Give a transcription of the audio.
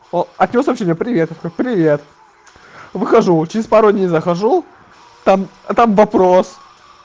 о от него сообщение привет я такой привет выхожу через пару дней захожу там а там вопрос